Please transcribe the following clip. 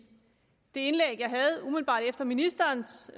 det indlæg jeg havde umiddelbart efter ministerens